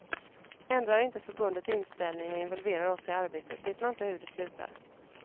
Ändrar inte förbundet inställning och involverar oss i arbetet vet man inte hur det slutar.